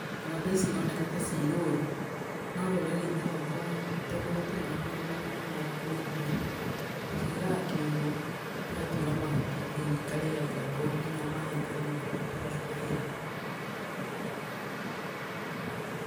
Ng'ombe ici ironeka ta ci rũru, no rũrĩrĩ-inĩ rwakwa tondũ gũtirĩ na mĩgũnda mĩnene ya kũrĩithia, tũciigaga kiugũ tũgatuĩra mahuti ikarĩagĩra kũu, nginya maĩ ikanyuĩra kũu tũgacitahĩra.